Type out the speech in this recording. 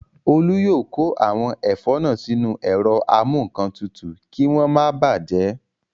Olú yóò kó àwọn ẹ̀fọ́ náà sínú ẹ̀rọ amúǹkantutù kí wọ́n máa bàjẹ́